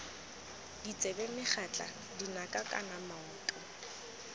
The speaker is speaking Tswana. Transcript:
ditsebe megatla dinaka kana maoto